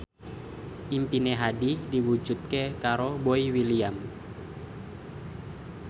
impine Hadi diwujudke karo Boy William